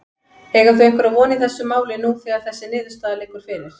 Eiga þau einhverja von í þessu máli nú þegar þessi niðurstaða liggur fyrir?